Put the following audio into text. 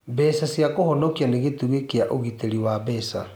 beca cia kũhonokia nĩ gĩtugĩ kĩa ũgitĩri wa kĩmbeca.